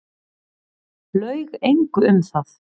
Laug engu um það.